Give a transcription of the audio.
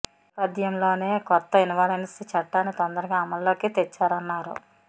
ఈ నేపథ్యంలోనే కొత్త ఇన్సాల్వెన్సీ చట్టాన్ని తొందరగా అమలులోకి తెచ్చారన్నారు